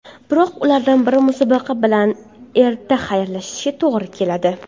Biroq ulardan biri musobaqa bilan erta xayrlashishiga to‘g‘ri keladi.